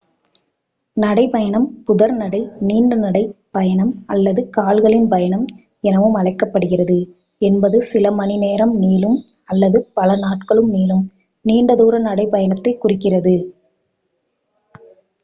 நடை பயணம் புதர் நடை நீண்ட நடை பயணம் அல்லது கால்களின் பயணம் எனவும் அழைக்கப்படுகிறது என்பது சில மணிநேரம் நீளும் அல்லது பல நாட்கள் நீளும் நீண்ட தூர நடைபயணத்தை குறிக்கிறது